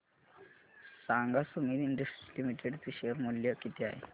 सांगा Sumeet industries limited चे share मूल्य किती आहे